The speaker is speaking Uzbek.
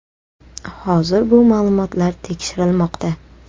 Hozir bu ma’lumotlar tekshirilmoqda.